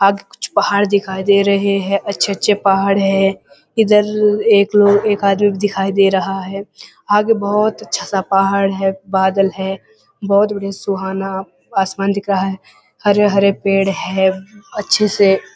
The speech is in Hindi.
आगे कुछ पहाड़ दिखाई दे रहे हैं और अच्छे-अच्छे पहाड़ हैं इधर एक एक आदमी दिखाई दे रहा है आगे बोहोत अच्छा सा पहाड़ है बादल है बहुत बढ़िया सुहाना आसमान दिख रहा है हरे-हरे पेड़ हैं अच्छे से।